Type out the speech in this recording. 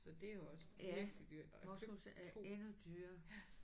Så det er også virkelig dyrt og jeg købte 2